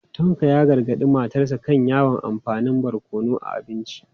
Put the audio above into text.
Tanko ya gargadi matarsa ​​kan yawan amfani da barkono a abinci.